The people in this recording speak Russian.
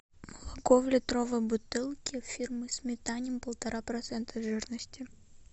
молоко в литровой бутылке фирмы сметанин полтора процента жирности